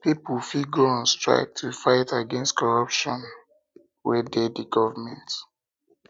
pipo fit go on strike to fight against corruption fight against corruption wey de di government